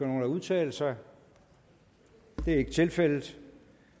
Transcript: nogen at udtale sig det er ikke tilfældet